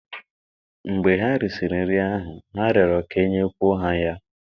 mgbe ha risịrị nri ahụ, ha rịọrọ ka e nyekwuo ha ya